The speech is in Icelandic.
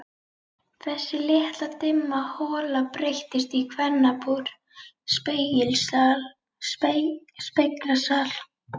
Þessi litla dimma hola breyttist í kvennabúr, speglasal.